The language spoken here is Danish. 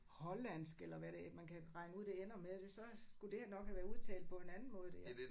Hollandsk eller hvad det man kan regne ud det ender med det så skulle det her nok have været udtalt på en anden måde det her